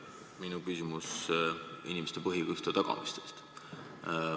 Minu küsimus puudutab inimeste põhiõiguste tagamist.